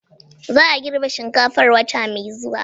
Za a girbe shinkafar wata mai zuwa